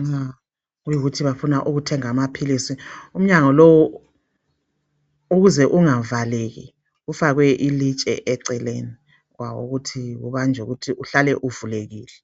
nxa kuyikuthi bafuna ukuthenga amaphilisi. Umnyango lo ukuze ungavaleki kufakwe ilitshe eceleni kwawo ukuthi ubanjwe ukuthi uhlale uvulekile.